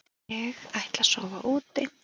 Ég ætla að sofa úti.